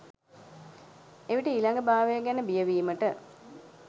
එවිට ඊළඟ භවය ගැන බිය වීමට